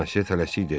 Bonasyö tələsik dedi.